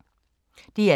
DR2